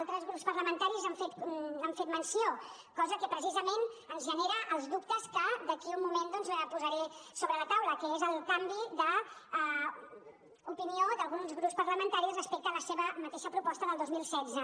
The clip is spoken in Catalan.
altres grups parlamentaris n’han fet menció cosa que precisament ens genera els dubtes que d’aquí un moment doncs posaré sobre la taula com ara el canvi d’opinió d’alguns grups parlamentaris respecte a la seva mateixa proposta del dos mil setze